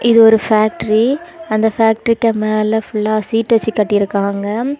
இது ஒரு ஃபேக்டரி . அந்த ஃபேக்டரிக்கு மேல ஃபுல்லா ஷீட் வெச்சு கட்டியிருக்காங்க.